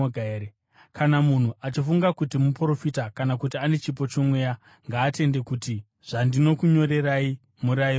Kana munhu achifunga kuti muprofita kana kuti ane chipo chomweya, ngaatende kuti zvandinokunyorerai murayiro waShe.